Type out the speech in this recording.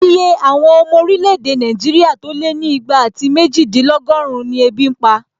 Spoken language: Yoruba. Iye àwọn ọmọ orílẹ̀-èdè Nàìjíríà tó lé ní ìgbà àti méjìdínlọ́gọ́run ni ebi n pa